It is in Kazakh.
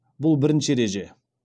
бұл бірінші ереже